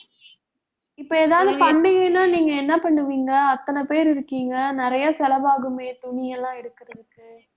இப்ப எதாவது பண்டிகைன்னா நீங்க என்ன பண்ணுவீங்க அத்தனை பேர் இருக்கீங்க நிறைய செலவாகுமே துணி எல்லாம் எடுக்குறதுக்கு